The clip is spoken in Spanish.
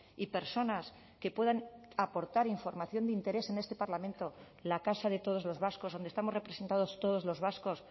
y personas que puedan aportar información de interés en este parlamento la casa de todos los vascos donde estamos representados todos los vascos